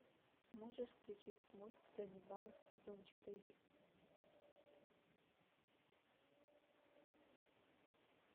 можешь включить мульт ганнибал сезон четыре